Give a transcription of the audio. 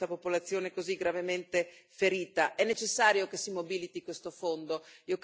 Noi dobbiamo dare un forte segnale e aiutare questa popolazione così gravemente ferita.